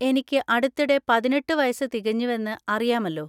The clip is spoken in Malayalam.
എനിക്ക് അടുത്തിടെ പതിനെട്ട് വയസ്സ് തികഞ്ഞുവെന്ന് അറിയാമല്ലോ?